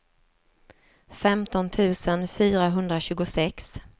femton tusen fyrahundratjugosex